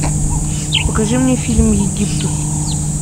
покажи мне фильм египтус